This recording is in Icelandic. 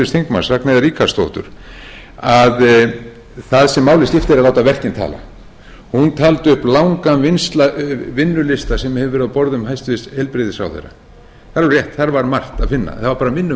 þingmaður ragnheiðar ríkharðsdóttur að það sem máli skiptir er að láta verkin tala hún taldi upp langan vinnulista sem hefur verið á borðum hæstvirtur heilbrigðisráðherra það er alveg rétt þar var margt að finna en það var bara minna